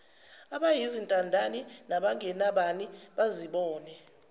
abayizintandane nabangenabani bazibone